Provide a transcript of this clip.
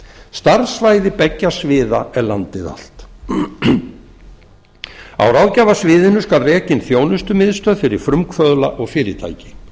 starfssvæði beggja sviða er landið allt á ráðgjafarsviðinu skal rekin þjónustumiðstöð fyrir frumkvöðla og fyrirtæki